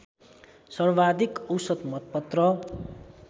सर्वाधिक औसत मतपत्र